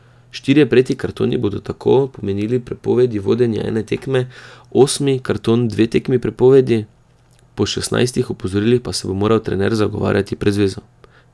Štirje prejeti kartoni bodo tako pomenili prepovedi vodenja ene tekme, osmi karton dve tekmi prepovedi, po šestnajstih opozorilih pa se bo moral trener zagovarjati pred zvezo.